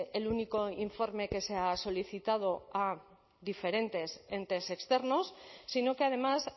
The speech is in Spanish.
el único informe que se ha solicitado a diferentes entes externos sino que además